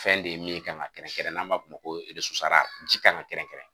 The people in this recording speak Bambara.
Fɛn de ye min kan ka kɛrɛnkɛrɛn n'an b'a f'o ma ji kan ka kɛrɛnkɛrɛn